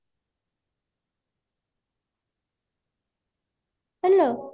hello